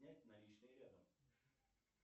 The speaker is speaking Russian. снять наличные рядом